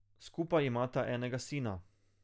Skupaj imata enega sina.